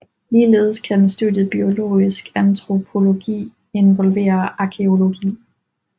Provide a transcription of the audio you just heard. Ligeledes kan studiet biologisk antropologi involvere arkæologi